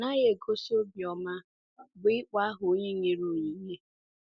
Ọ naghị egosi obiọma bụ́ ịkpọ aha onye nyere onyinye.